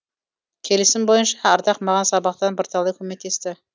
келісім бойынша ардақ маған сабақтан бірталай көмектесті